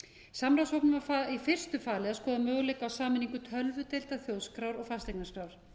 samráðshópnum var í fyrstu falið að skoða möguleika á sameiningu tölvudeildar þjóðskrár og fasteignaskrár